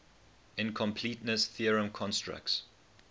incompleteness theorem constructs